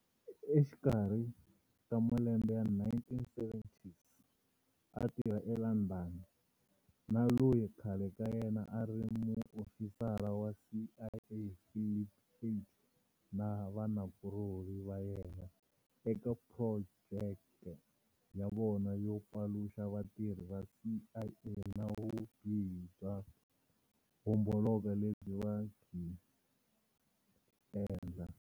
Exikarhi ka malembe ya1970s, a tirha eLondon na loyi khale ka yena a a ri muofisara wa CIA Philip Agee na vanakulorhi va yena" eka projeke ya vona yo paluxa vatirhi va CIA na vubihi byo homboloko lebyi va byi endla".